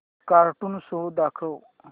cartoon show दाखव